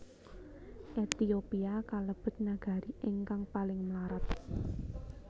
Ehtiopia kalebet nagari ingkang paling mlarat